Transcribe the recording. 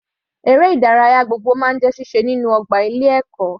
Eré ìdárayá gbogbo máa ń jẹ́ síse lórí ọgbà ilé ẹ̀kọ́.